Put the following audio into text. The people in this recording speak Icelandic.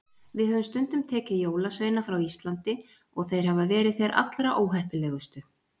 Við höfum stundum tekið jólasveina frá Íslandi og þeir hafa verið þeir allra óheppilegustu.